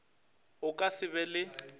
o ka se be le